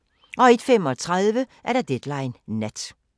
01:35: Deadline Nat